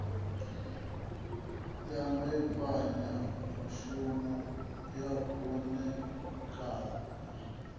ya mbekanyamushumo ya u ṋekana